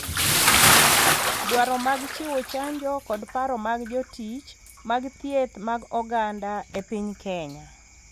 Dwaro mag Chiwo Chanjo kod Paro mag Jotich mag Thieth mag Oganda e piny Kenya,